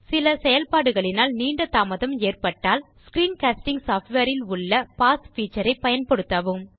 சில செயல்பாடுகளினால் நீண்ட தாமதம் ஏற்பட்டால் ஸ்க்ரீன் காஸ்டிங் சாஃப்ட்வேர் இல் உள்ள பாஸ் பீச்சர் பயன்படுத்தவும்